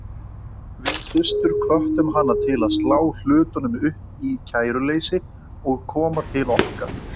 Við systur hvöttum hana til að slá hlutunum upp í kæruleysi og koma til okkar.